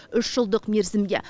үш жылдық мерзімге